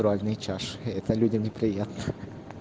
разные чаши и это людям неприятно